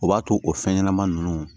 O b'a to o fɛn ɲɛnama ninnu